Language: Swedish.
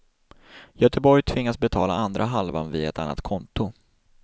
Göteborg tvingas betala andra halvan via ett annat konto.